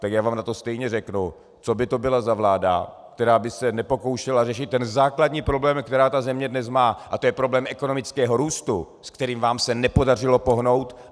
Tak já vám na to stejně řeknu, co by to bylo za vládu, která by se nepokoušela řešit ten základní problém, který ta země dnes má, a to je problém ekonomického růstu, s kterým vám se nepodařilo pohnout.